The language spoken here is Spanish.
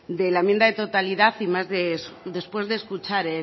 de la enmienda de totalidad y más después de escuchar